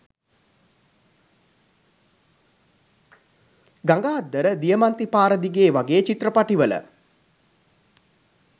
ගඟ අද්දර දියමන්ති පාර දිගේ වගේ චිත්‍රපටිවල